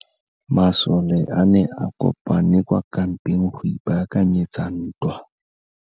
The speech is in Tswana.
Masole a ne a kopane kwa kampeng go ipaakanyetsa ntwa.